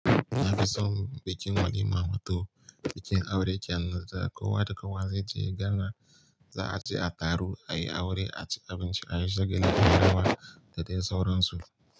Na fi son bikin walima wato, bikin aure kenan da kowa da kowa zai je gana, za a ci a taro, ayi aure, a ci abinci, a yi shagali da yawa da dai sauran su.